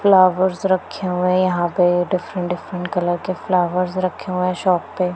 flowers रखे हुए यहां पे डिफरेंट डिफरेंट कलर के फ्लावर्स रखे हुए शॉप पे--